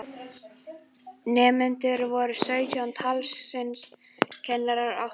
Nemendur voru sautján talsins, kennarar átta.